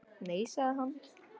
Nei sagði hann.